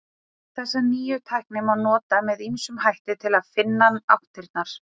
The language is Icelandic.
Þessa nýju tækni má nota með ýmsum hætti til að finna áttirnar.